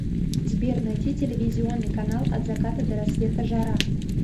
сбер найти телевизионный канал от заката до рассвета жара